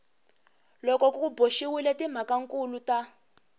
loko ku boxiwile timhakankulu ta